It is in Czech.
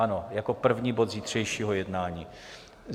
Ano, jako první bod zítřejšího jednání.